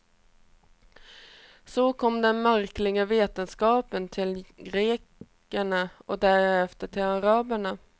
Så kom den märkliga vetenskapen till grekerna och därefter till araberna.